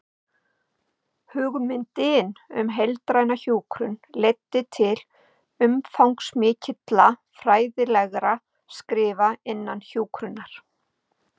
Hugmyndin um heildræna hjúkrun leiddi til umfangsmikilla fræðilegra skrifa innan hjúkrunar.